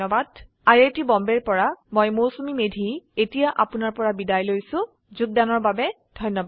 I I T Bombay ৰ পৰা মই মৌচুমী মেধী এতিয়া আপুনাৰ পৰা বিদায় লৈছো যোগদানৰ বাবে ধন্যবাদ